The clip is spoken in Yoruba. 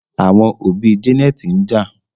Àwọn òbí Janet njà